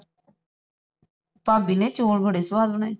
ਭਾਬੀ ਨੇ ਚੌਲ ਬੜੇ ਸਵਾਦ ਬਣਾਏ ਸੀ